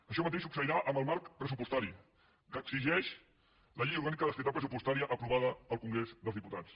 això mateix succeirà amb el marc pressupostari que exigeix la llei orgànica d’estabilitat pressupostària aprovada al congrés dels diputats